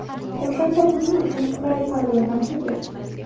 O‘shanda buning uchun qulay palla emas edi.